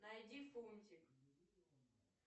найди фунтик